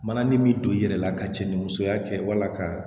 Mananin min don i yɛrɛ la ka cɛ ni musoya kɛ wala ka